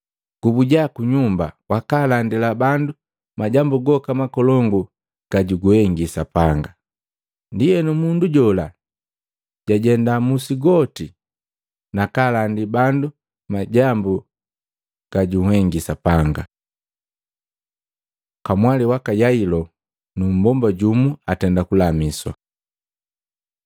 “Gubuja ku nyumba wakaalandila bandu majambu goka makolongu ga juguhengi Sapanga.” Ndienu, mundu jola jajenda musi goti nakaalandi bandu majambu ga junhengi Yesu. Kamwali waka Yailo nu mbomba jumu atenda kulamiswa Matei 9:18-26; Maluko 5:21-43